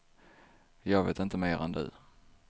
Jag vet inte mer än du.